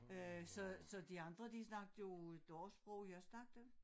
Øh så så de andre de snakkede jo deres sprog jeg snakkede